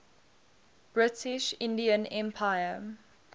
british indian empire